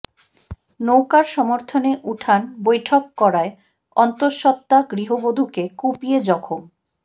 নৌকার সমর্থনে উঠান বৈঠক করায় অন্তঃসত্ত্বা গৃহবধূকে কুপিয়ে জখম